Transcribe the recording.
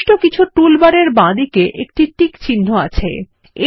নির্দিষ্ট কিছু টুলবার এর বাঁদিকে টিক চিহ্ন অবস্থিত আছে